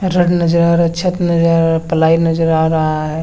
रंग नजर आ रहा है छत नजर आ रहा है प्लाइ नजर आ रहा है।